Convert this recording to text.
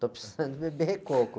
Estou precisando beber coco.